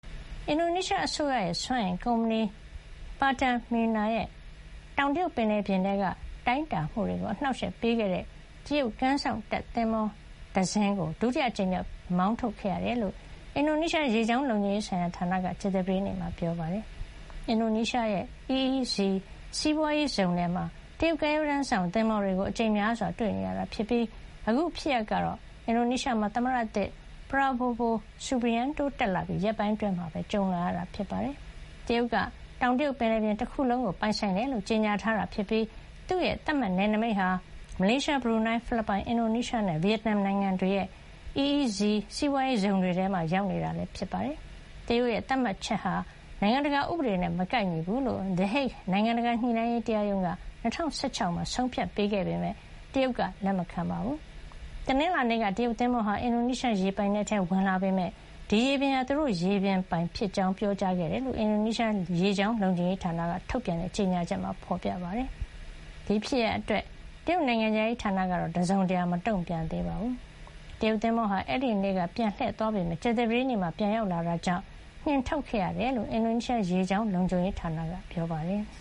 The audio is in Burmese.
အင်ဒိုနီးရှားအစိုးရ စွမ်းအင်ကုမ္ပဏီ Pertamina ရဲ့ တောင်တရုတ်ပင်လယ်ပြင်ထဲ တိုင်းတာမှုတွေကို အနှောက်အယှက်ပေးခဲ့တဲ့ တရုတ်ကမ်းစောင့်တပ်သင်္ဘောတစင်းကို ဒုတိယအကြိမ်မြောက် မောင်းထုတ်ခဲ့ရတယ်လို့ အင်ဒိုနီးရှား ရေကြောင်းလုံခြုံရေးဌာနက ကြာသပတေးနေ့မှာ ပြောပါတယ်။ အင်ဒိုနီးရှားရဲ့ EEZ စီးပွါးရေးဇုံထဲမှာ တရုတ်ကမ်းရိုးတန်းစောင့်သင်္ဘောတွေကို အကြိမ်များစွာ တွေ့နေရတာဖြစ်ပြီး အခုဖြစ်ရပ်ကတော့ အင်ဒိုနီးရှားမှာ သမ္မတသစ် ပရာဘိုဝို စူဘီယန်နို (Subianto) တက်လာပြီး ရက်ပိုင်းအတွင်းမှာပဲ ကြုံလာရတာပါ။ တရုတ်က တောင်တရုတ်ပင်လယ်ပြင်တခုလုံးကို ပိုင်ဆိုင်တယ်လို့ ကြေညာထားပြီး သူ့သတ်မှတ်နယ်နိမိတ်ဟာ မလေးရှား၊ ဘရူနိုင်း၊ ဖိလစ်ပိုင်၊ အင်ဒိုနီးရှားနဲ့ ဗီယက်နမ်နိုင်ငံတွေရဲ့ EEZ စီးပွါးရေးဇုံ တွေထဲမှာပါ ရောက်နေတာဖြစ်ပါတယ်။ တရုတ်ရဲ့ သတ်မှတ်ချက်ဟာ နိုင်ငံတကာဥပဒေနဲ့မကိုက်ညီဘူးလို့ The Hague နိုင်ငံတကာ ညှိနှိုင်းရေး တရားရုံးက ၂၀၁၆ မှာ ဆုံးဖြတ်ခဲ့ပေမယ့် တရုတ်က လက်မခံပါဘူး။ တနင်္လာနေ့က တရုတ်သင်္ဘောဟာ အင်ဒိုနီးရှားရေပိုင်နက်ထဲဝင်လာပေမယ့် ဒီရေပြင်ဟာ သူတို့ရေပြင် ဖြစ်ကြောင်းပြောကြားခဲ့တယ်လို့ အင်ဒိုနီးရှားရေကြောင်း လုံခြုံရေးဌာနက ထုတ်ပြန်တဲ့ ကြေညာချက်မှာ ဖေါ်ပြထားပါတယ်။ ဒီဖြစ်ရပ်အတွက် တရုတ်နိုင်ငံခြားရေးဌာနက တစုံတရာ မတုံ့ပြန်သေးပါဘူး။ တရုတ်သင်္ဘောဟာ အဲဒီနေ့က ပြန်လှည့်သွားပေမယ့် ကြာသပတေးနေ့မှာ ပြန်ရောက်လာတာကြောင့် နှင်ထုတ်ခဲ့ရတယ်လို့လည်း အင်ဒိုနီးရှား ရေကြောင်းလုံခြုံရေးဌာနက ပြောပါတယ်။